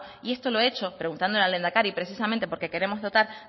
y esto lo he hecho preguntándole al lehendakari precisamente porque queremos dotar